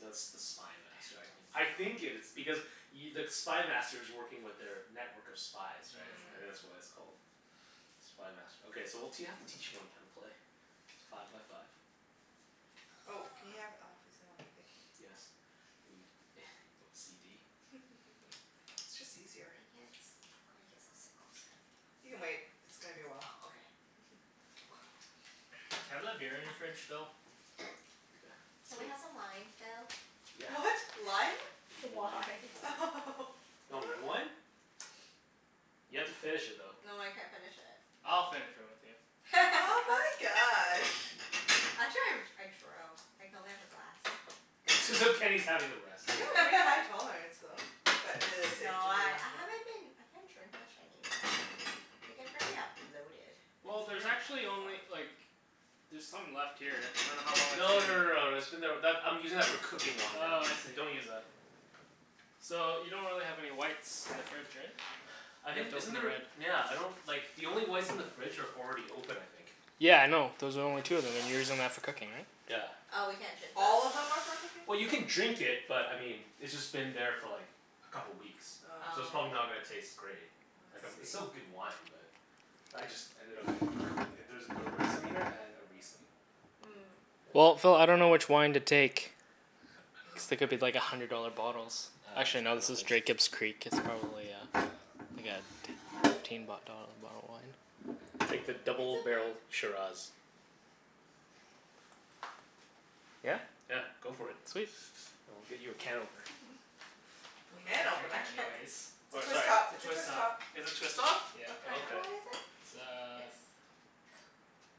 No, it's the Spy Master I think. Damn. I think it is. Because y- the Spy Master's working with their network of spies, right? Mm, I think Mm. that's why mhm. it's called Spy Master. Okay, so we'll t- you'll have to teach Wenny how to play. Five by five. Oh, can you have it all facing one way? Thank you. Yes. Are you OCD? It's just easier. I can't s- I guess I'll sit closer. You can wait. It's gonna be a while. Oh, okay. Can I have that beer in your fridge, Phil? Yeah. Can we Sweet. have some wine, Phil? Yeah. What? Lime? Wine. Wine. Do you want red wine? You have to finish it though. No, I can't finish it. I'll finish it with you. Oh my gosh. Actually I r- I drove. I can only have a glass. As if Kenny's having the rest. You have a pretty high tolerance, though. But it is safe No, to do I one I haven't been I can't drink much anymore. Mm. I get very a bloated, and Well, it's Mm. there's very actually uncomfortable. only like there's some left here. I dunno how long it's No been no no here. no, that's been there, that, I'm using that for cooking wine now. Oh, I see. Don't use that. So, you don't really have any whites in the fridge, right? I You'd think, have to isn't open a there, red. nyeah, I don't like the only whites in the fridge are already open I think. Yeah, I know, those are the only two of them and you're using that for cooking, right? Yeah. Oh, we can't drink those? All of them are for cooking? Well you can drink it, but I mean it's just been there for like a couple weeks Oh. so it's probably Oh. not gonna taste great. Oh Like um I it's still see. good wine but I just ended up using it for cooking. If there's a gewürztraminer and a riesling. Hmm. Well, Yeah. Phil, I dunno which wine to take. Cuz Uh they I could be like a dunno hundred dollar bottles. Uh Actually I no, don't this is think s- Jacob's Creek. It's probably uh like a t- fifteen b- dollar bottle of wine? Take the It's double okay. barrel Shiraz. Yeah? Yeah, go for it. Sweet. I'll get you a can opener. Phil Can doesn't drink A opener? it can op- anyways. It's a Or twist sorry top. It's a Twist twist top. top. Is this twist off? Yeah. What Then kinda okay. wine is it? It's a Ex-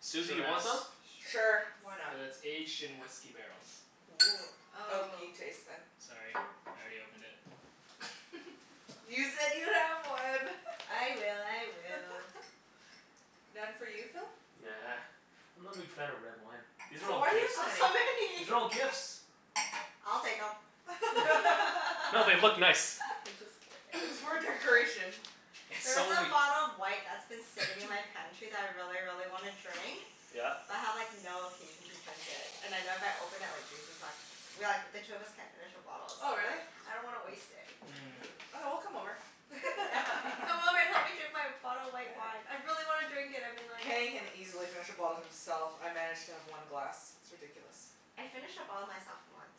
Susie, you want shiraz. some? Sure. Why Shiraz. not? But it's aged in whisky barrels. Woo. Oh. Oaky taste, then. Sorry, I already opened it. You said you have one. I will. I will. None for you, Phil? Nah. I'm not a big fan of red wine. These are So all why do you have gifts. so many? So many. These are all gifts. I'll take 'em. I'm No, they look just nice. kidding. It's for decoration. There It's is a only bottle of white that's been sitting in my pantry that I really, really wanna drink. Yeah. But I have like no occasion to drink it. And I know if I open it, like Jason's like we like, but the two of us can't finish a bottle so Oh, really? like I don't wanna waste it. Mm. Mmm. Okay, we'll come over. Yeah. Come over and help me drink my bottle of white wine. Yeah. I really wanna drink it. I've been like, Kenny can oh easily finish a bottle himself. I manage to have one glass. It's ridiculous. I finished a bottle myself, once.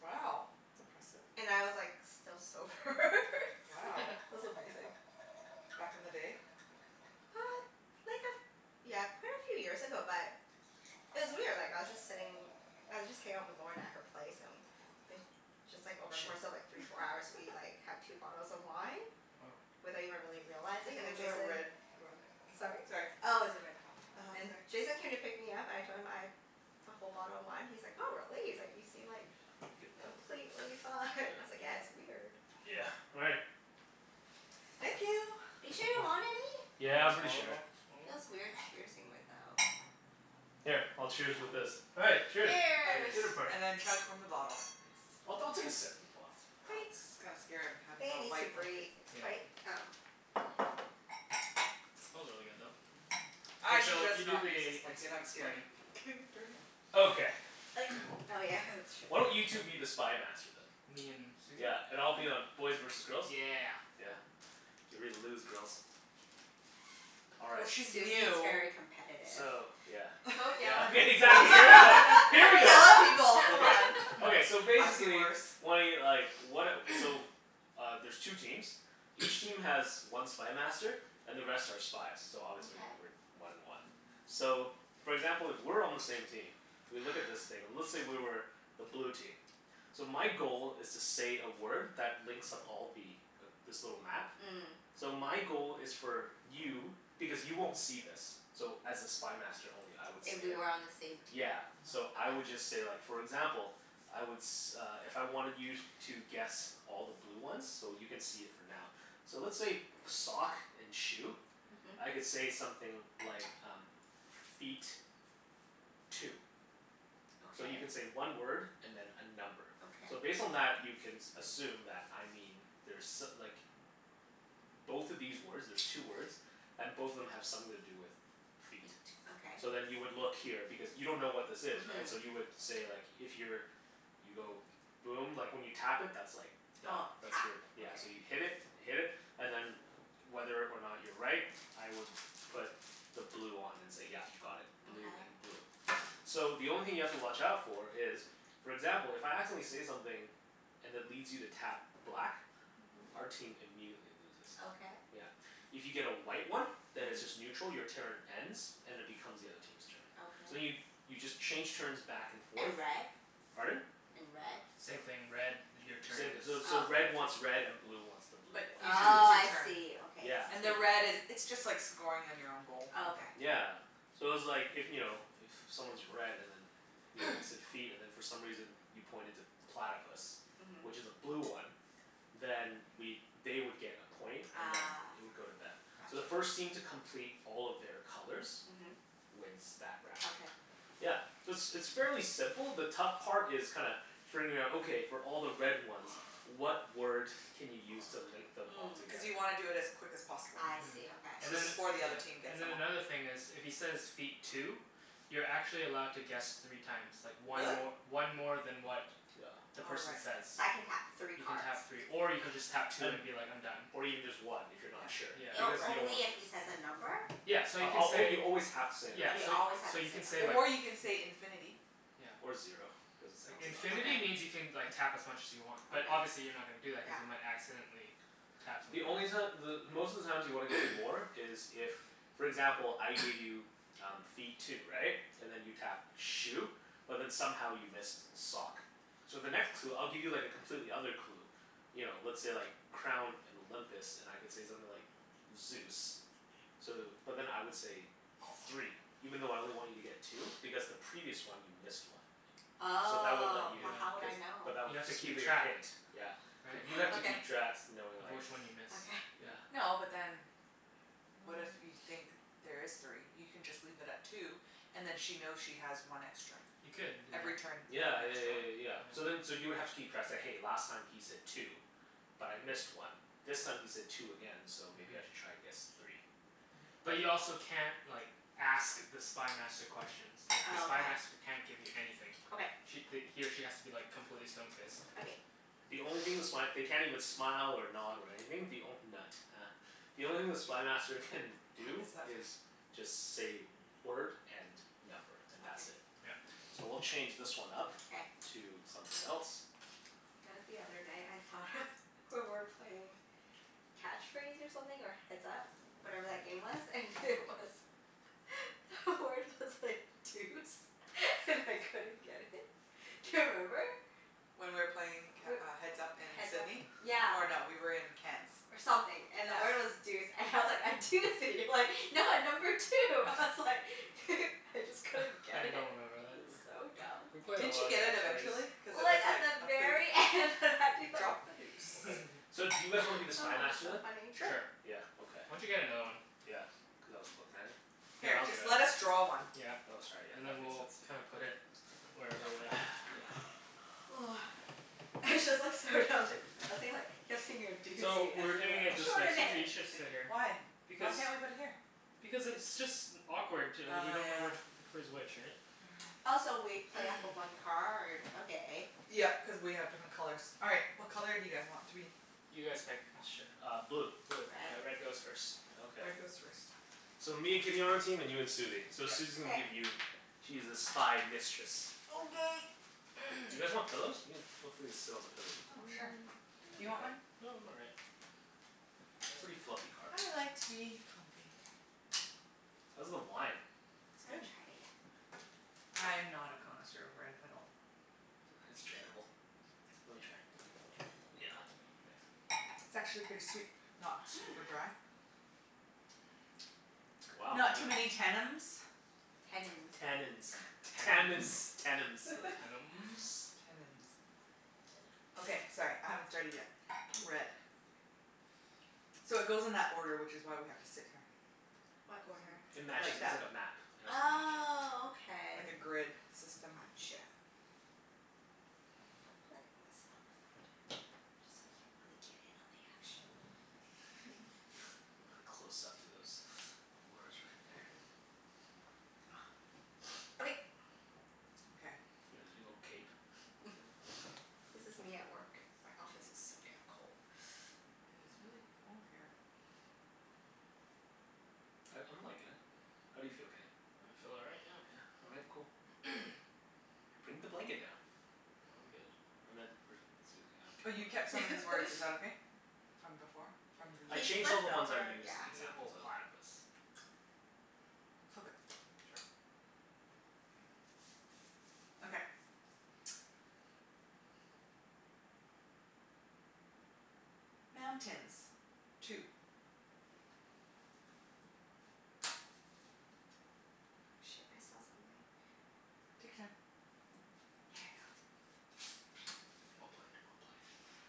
Wow. That's impressive. And I was like still sober Wow. It was amazing. Back in the day? Uh, like a f- yeah, quite a few years ago but it was weird. Like, I was just sitting I was just hangin' out with Lorna at her place, and it just like, over course of like three, four hours we like had two bottles of wine Woah. without even really Good realizing, thing and then it's a Jason red rug. Mhm. Sorry? Sorry. Oh, it's a red. uh-huh. And Sorry. Jason came to pick me up. I told him, I'd a whole bottle of wine, he's like, "Oh, really?" He's like "You seem Yeah, like I get that. completely fine." I was like, "Yeah, Yeah. it's weird." Yeah, all right. Thank you. Are you sure you don't want any? Yeah, Wanna I'm pretty smaller o- sure. smaller one? Feels weird cheersing without Here, I'll cheers with this. All right. Cheers. Cheers. Dinner Cheers. party. And then chug from the bottle, yes. I'll I'll take a sip from the bottle. Oh, Wait. this is kinda scary. I'm I having think it a needs to white breathe. blanket. It's Yeah. quite, um Smells really good, though. Mhm. K I should Phil, just you do not use this the ex- blanket. I'm scared explaining. of getting it dirty. Okay. Like, oh yeah. Why don't That's you true. two be the Spy Master, then? Me and Susie? Yeah, and I'll be on, K. boys versus girls? Yeah. Yeah. Get ready to lose, girls. All Well, right. she's Susie's new. very competitive. So, yeah Don't yell Yeah at me, Susie. exactly. Here we I go. You Here we never yell go. yell at at people. people, come Come Okay, on. on. okay. So I've seen basically worse. Wenny, like, what a, so Uh, there's two teams. Each team has one Spy Master. And the rest are spies, so obviously we're Okay. one and one. So, for example, if we're on the same team we look at this thing and let's say we were the blue team. So my goal is to say a word that links up all the, this little map. Mm. So my goal is for you, because you won't see this so as a Spy Master only I would If see we it. were on the same team? Yeah. So Mhm. I would Okay. just say like, for example I would s- uh if I wanted you to guess all the blue ones So you can see it for now. So let's say sock and shoe. Mhm. I could say something like um Feet. Two. So you can Okay. say one word and then a number. Okay. So based on that you can s- assume that I mean there's so- like Both of these words, there's two words And both of them have something to do with Feet. feet. Okay. So then you would look here because you don't know what this is, right? So you Mhm. would say like, if you're you go boom. Like, when you tap it that's like Done. Oh. That's Tap. your, yeah. Okay. So you hit it. Hit it, and then whether or not you're right I would put the blue on and say yeah, you got it. Blue and Okay. blue. So the only thing you have to watch out for is for example, if I accidentally say something and it leads you to tap black Mhm. our team immediately loses. Okay. Yeah. If you get a white one then it's Mhm. just neutral. Your turn ends and it becomes the other team's turn. So then you, Okay. you just change turns back and forth And red? Pardon? And red? Same thing. Red, your turn Same, ends. so so Oh. red wants red and blue wants the blue But you ones. just lose Oh, your I turn. see. Okay, Yeah. I And the red see. is, it's just like scoring on your own goal, Oh kinda thing. okay. Yeah. So it's like, if, you know, if someone's red and then you know, you said feet and then for some reason you pointed to platypus Mhm. which is a blue one then we'd, they would get a point and then Ah, it would go to them. So the gotcha. first team to complete all of their colors Mhm. wins that round. Okay. Yeah. So it's it's fairly simple. The tough part is kinda figuring out, okay, for all the red ones what word can you use to link them all Mm. Cuz together? you wanna do it as quick as possible. I Mhm. see. And Okay. So then, Before the yeah, other team gets and them then all. another thing is if he says, "Feet. Two." You're actually allowed to guess three times. Like one Really? mor- one more than what Yeah. the Oh, right. person So says. I can tap three You can cards? tap three. Or you can just tap two And, and be like, "I'm done." or even just one if you're Yeah, not sure, Yeah. O- because right. you don't wanna only if he says a number? Yeah. So you can say you always have to say a number. Yeah, Oh, you so always have so to say you a can say number. like Or you can say, "infinity." Yeah. Or zero, cuz it sounds not as Infinity lame. Okay. means you can like tap as much as you want. But Okay. obviously you're not gonna do that cuz Yeah. you might accidentally tap something The else. only reason that the, most of the times you want to get more is if for example, I give you um feet, two. Right? And then you tapped shoe? But then somehow you missed sock. So the next clue, I'll give you like a completely other clue you know, let's say like crown and Olympus and I could say something like Zeus. So, but then I would say three even though I only want you to get two because the previous one you missed one. So that would let Oh, you, Yeah. but how would cuz, I know? but that, You have to that'll keep be your track. hint. Yeah. But Right? you have to Okay. keep tracks knowing Of like which one you miss. Okay. Yeah. Yeah. No, but then what if you think there is three? You can just leave it at two and then she knows she has one extra. You could do Every turn that. you get Yeah yeah an yeah extra yeah one. yeah Yeah. yeah. So then so you would have to keep tracks, say "Hey, last time he said two." "But I missed Mhm. one." "This time he said two again. So maybe I Mhm. should try and guess three." Mhm. But But you also can't like ask the Spy Master questions. It's like the Spy Oh, Master can't give you okay. anything. Okay. Sh- th- he or she has to be like completely stone faced. Okay. The only thing the sp- they can't even smile or nod or anything. The onl- nut, huh. The only thing the Spy Master can What do is that fa- is just say word and number, and that's it. Okay. Yeah. So we'll change this one up K. to something else. You know what the other night I thought of, we were playing Catch Phrase or something, or Heads Up. Whatever that game was. And it was The word was like deuce. And I couldn't get it. Do you remember? When we were playing c- We're, uh Heads Up in Heads Up Sidney. Yeah. Or no, we were in Ken's. or something. And the Yeah. word was deuce. And I was like, "I do see you, like no, number two." I was like I just couldn't I get it. don't remember that. It was so We dumb. played a Didn't lot you of get it Catch Phrase. eventually? Cuz it Well, was it's at like the a pers- very end that I'd be like Drop a deuce. Okay. So do Oh, you guys wanna be the Spy Master so then? funny. Sure. Sure. Yeah, okay. Why don't you get another one? Yeah, cuz I wasn't lookin' at it. Here, Here, I'll do just it. let us draw one. Yeah. Oh, sorry. Yeah, And then that makes we'll kinda sense. put Yeah. it whatever way. It's just like, so dumb that I was thinking like, kept saying you're a So, doozy, and we're you're doing like, it this way. Susie, "Extraordinary!" you should sit here. Why? Why Because can't we put it here? Because it's just awkward t- we Oh, don't know yeah. which which way's which, right? Also, we play off of one card? Okay. Yep, cuz we have different colors. All right. What color do you guys want to be? You guys pick. Sure, uh blue. Blue. Okay, Red. red goes first. Okay. Red goes first. So, me and Kenny on our team, and you and Susie. So Yep. Susie's gonna K. give you She's the Spy Mistress. Okay. You guys want pillows? You can, feel free to sit on the pillows if you Oh, want. sure. Mm, Do you I'm want okay. one? No, I'm all right. Pretty fluffy carpet. I like to be comfy. How's the wine? It's I good. haven't tried it yet. I'm not a connoisseur of red at all. Sure, it's drinkable. Let me try. Try? Yeah, thanks. It's actually pretty sweet. Not super Hmm. dry. Wow, Not too many yeah. tennums. Tennins. Tannins. Tammins. Tennums? Tennums. Tannums. Tannins. Okay, sorry. I haven't started yet. Red. So, it goes in that order, which is why we have to sit here. What Goes order? It in matches like it, it's that. like a map Oh, okay. Like a grid system. Gotcha. Feel like I'm gonna sit on the floor, too. Just so I can really get in on the action. Really close up to those words right there. Okay. Okay. Look at your little cape. This is me at work. My office is so damn cold. Yeah, it's really cold here. I I'm likin' it. How do you feel, Kenny? I feel all right, yeah. Yeah? All right. Cool. Bring the blanket down. No, I'm good. I meant for Susie. Oh, I don't you care kept about some of these words. Is that okay? From before? From the I He changed all the flipped ones I over, used yeah. N- examples well, of. platypus. Flip it. Sure. Yeah. Okay. Mountains. Two. Oh, shit. I saw something. Take your time. Yeah. Well played. Well played.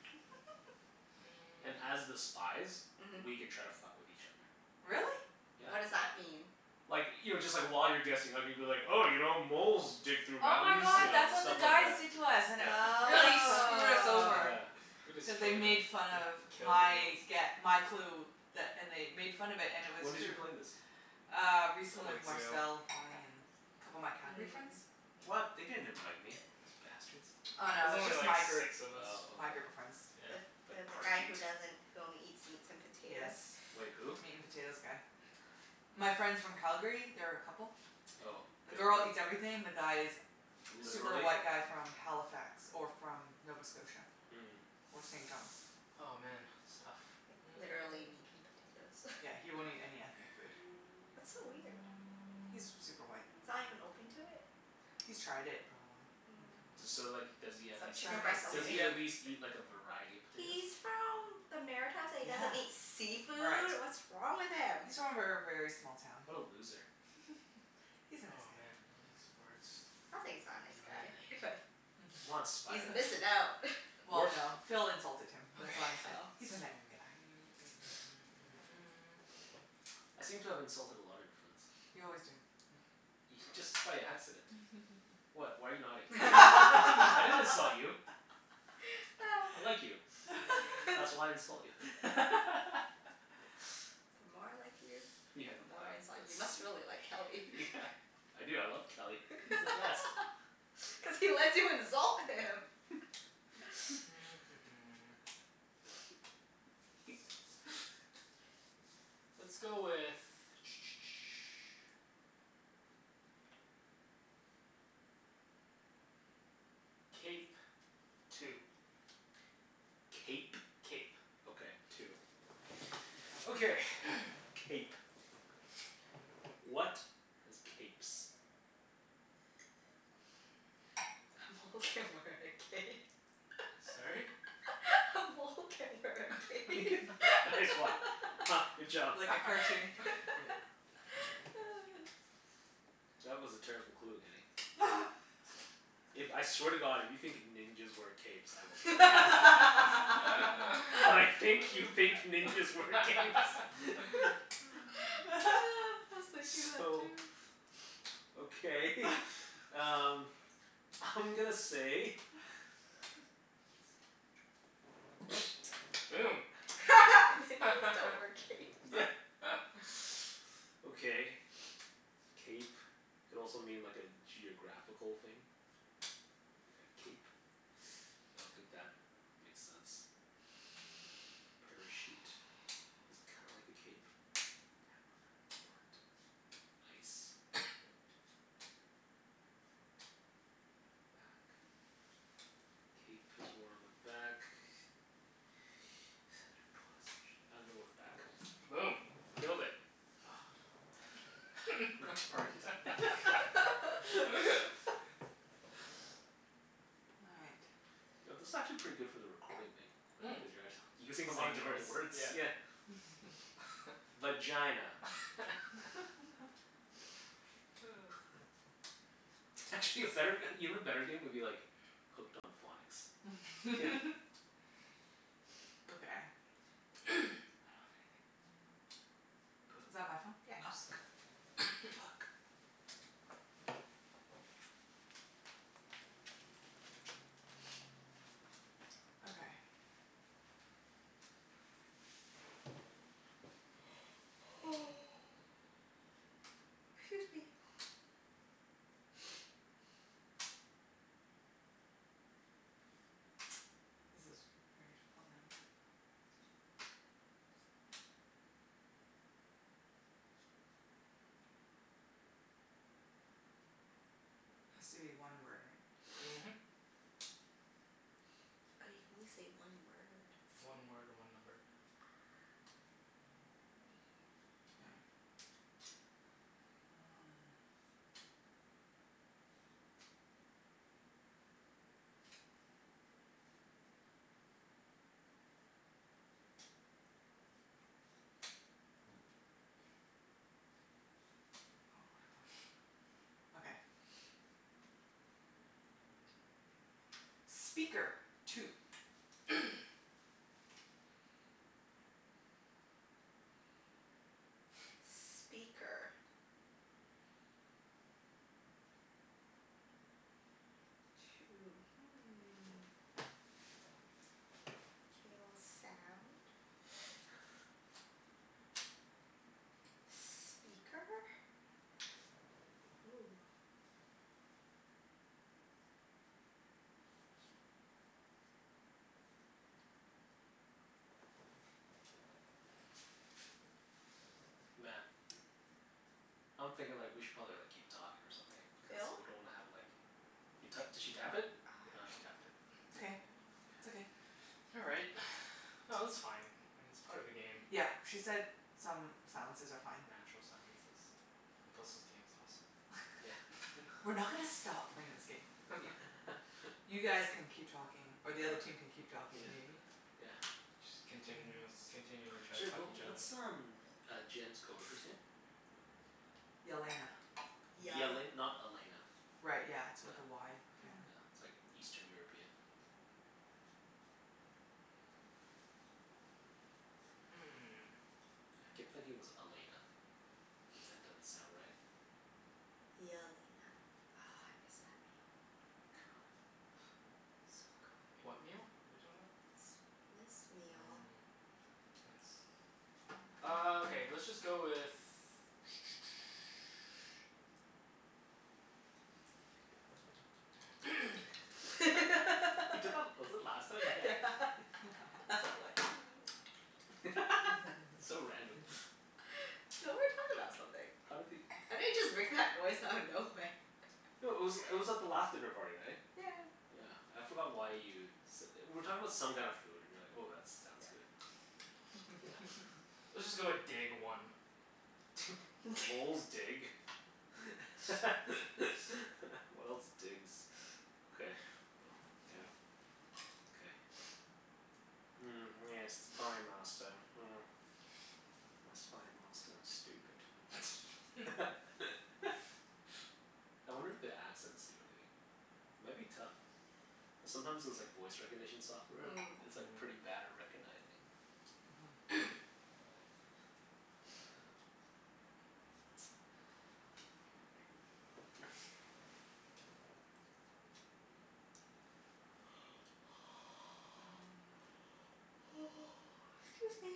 Mm. And as the spies Mhm. We can try to fuck with each other. Really? Yeah. What does that mean? Like, you know, just like while you're guessing I could be like, 'Oh, you know, moles dig through Oh my mountains." You god, know? that's what the Stuff like guys that. did to us and it Yeah. fu- really screwed us Oh. over. Yeah. We destroyed Cuz they them. made fun of We killed my the girls. gue- my clue. That and they made fun of it, and it was When did true. you play this? Uh, A recently couple with weeks ago. Marcel, Bonnie, and a couple of my Calgary friends. Mm. What? They didn't invite me, those bastards. Oh It no, was it was only just my like group, six of us. Oh, my okay. group of friends. Yeah. The the Like the guy Parjeet. who doesn't, who only eats meats and Yes, potatoes? Wait, who? meat and potatoes guy. My friends from Calgary. They're a couple. Oh. The The girl girl, eats everything. The guy is super literally? white guy from Halifax. Or from Nova Scotia. Mm. Or St. John's. Oh, man. It's tough. Like, Mm. literally meat and potatoes. Yeah, he won't eat any ethnic food. That's so weird. He's super white. He's not even open to it? He's tried it, probably, and Mm. didn't D- So so like does he at least chicken Doesn't eat breast eat, does only. he at seafood. least eat like a variety of He's potatoes? from the Maritimes and he Yeah. doesn't eat Right. seafood? What's wrong with him? He's from a ver- very small town. What a loser. He's a nice Oh guy. man, none of these words do Sounds like he's not a nice guy. anything. Come on Spy He's Master. missin' out. Well Wart? no, Phil insulted him. Okay. That's why I said, Oh. "He's a night guy." I seem to have insulted a lot of your friends. You always do, yeah. Ye- just by accident. What? Why are you nodding? I didn't insult you. I like you. That's why I insult you. The more I like you, Yeah. the more I insult you. You must really like Kelly. Yeah. I do. I love Kelly. He's the best. Cuz he lets you insult him. Let's go with Cape. Two. Cape? Cape. Okay. Two. Okay. Cape. What has capes? A mole can wear a cape. A mole can wear a cape. Nice one. Huh. Good job. Like a cartoon. Yeah. That was a terrible clue, Kenny. If, I swear to god, if you think ninjas wear capes I will I kill you. But I was think you thinking think ninjas wear capes. that too. So okay um I'm gonna say Boom. Ninjas don't wear capes. Yeah. Okay. Cape could also mean like a geographical thing. Like a cape. I don't think that makes sense. A parachute is kinda like a cape ice note. Note. Bat. Cape is worn on the back. I'm gonna go with back. Boom. Killed it. Retarded. All right. You know, this is actually pretty good for the recording thing. Right? Cuz you're actu- you're saying a lot of Saying different words? words. Yeah. Yeah. Vagina. Actually, a better, even better game would be like Hooked on Phonics. Okay. I don't have anything. P- Is that my phone? Yeah. Oops. uck. Puck. Okay. Excuse me. This is very difficult now. Has to be one word, right? Mhm. Oh, you can only say one word. One word, one number. Ah. K. Um Oh, I have one. Okay. Speaker. Two. Speaker. Two. Hmm. K, well, sound. Speaker? Hoo. Man. I'm thinking like we should probably like keep talking or something, cuz Phil? we don't wanna have like You to- did she tap it? Ah. Yeah, she tapped it. It's okay. K. It's okay. Yeah. All right. No, that's fine. It's part of the game. Yep. She said some silences are fine. Natural silences. And plus this game is awesome. Yeah. We're not gonna stop playing this game. Yeah. You guys can keep talking, or All right. the other team can keep talking, Yeah. maybe? Yeah. Just continu- continually to try to Sorry fuck what each other up. what's um uh Jenn's coworker's name? Yelena. Yal- Yele- not Elena? Right, yeah. It's Yeah. with a Y Yeah. Yeah. apparently. It's like Eastern European? Hmm. Yeah, I kept thinking it was Elena. If that doesn't sound right. Yelena. Oh, I miss that meal. Good. So good. What meal? What are you talking about? This this meal. Mm. Nice. Ah, okay. Let's just go with He did that, was it last time? Yeah. Yeah. That's why I'm like So random. So, we were talking about something. How did he I didn't just make that noise out of nowhere. No, it was it was at the last dinner party, right? Yeah yeah. Yeah. I forgot why you s- we were talking about some kinda food and you were like, "Oh, that sounds Yeah. good." Yeah. Let's just go with dig, one. Moles dig. What else digs? Okay, Yeah. well, yeah. Okay. Mm, yes, Spy Master, hmm. My Spy Master is stupid. I wonder if the accents do anything? It might be tough. Cuz sometimes those like voice recognition software, Mm. it's like pretty Mm. bad at recognizing. Mhm. Mm. 'Scuse me.